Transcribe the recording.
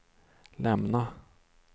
lämna